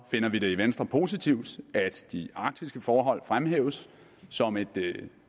finder vi det i venstre positivt at de arktiske forhold fremhæves som et